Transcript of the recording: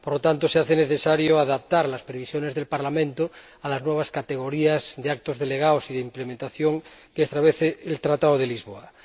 Por lo tanto, se hace necesario adaptar las previsiones del Parlamento a las nuevas categorías de actos delegados y de ejecución que establece el Tratado de Lisboa.